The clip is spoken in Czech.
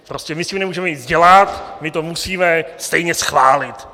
Prostě my s tím nemůžeme nic dělat, my to musíme stejně schválit.